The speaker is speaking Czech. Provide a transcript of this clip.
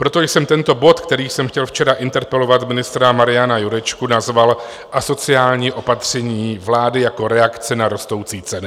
Proto jsem tento bod, kterým jsem chtěl včera interpelovat ministra Mariana Jurečku, nazval Asociální opatření vlády jako reakce na rostoucí ceny.